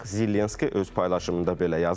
Zelenski öz paylaşımında belə yazıb.